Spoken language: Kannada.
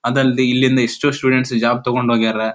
ಅದಲ್ಲದ್ದೆ ಇಲ್ಲಿಂದ ಎಷ್ಟು ಸ್ಟೂಡೆಂಟ್ಸ್ ಇಲ್ಲಿಂದ ಜಾಬ್ ತೊಗೊಂಡ ಹೋಗ್ಯಾರ.